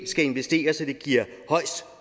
skal investere så det giver højest